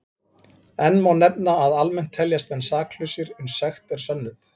Enn má nefna að almennt teljast menn saklausir uns sekt er sönnuð.